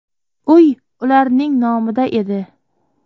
Uy ularning nomida edi.